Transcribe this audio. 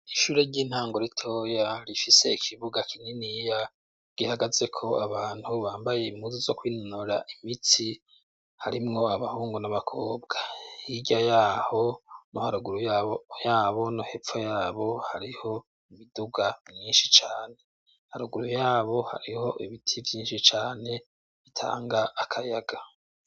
Ishure ry'intango ritoya rifise ikibuga kinye niya gihagaze ko abantu bambaye imuzu zo kwinonora imitsi harimwo abahungu n'abakobwa irya yaho no haruguru yabo no hepfo yabo hariho mu biduga mwinshi cane haruguru yabo hariho ebiti iyinshi cane bitanga akayaga.